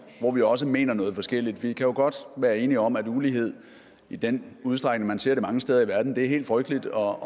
hvor vi også mener noget forskelligt vi kan jo godt være enige om at ulighed i den udstrækning man ser det mange steder i verden er helt frygteligt og at